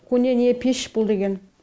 көне не пеш бұл деген